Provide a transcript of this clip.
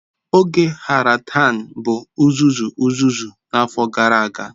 Oge Harahan bụ uzuzu uzuzu n'afọ gara aga.